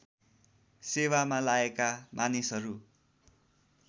सेवामा लागेका मानिसहरू